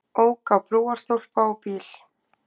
Ók á brúarstólpa og bíl